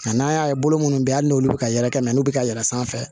Nka n'an y'a ye bolo minnu bɛ yen hali n'olu bɛ ka yɛlɛkɛ mɛ n'u bɛ ka yɛlɛn sanfɛ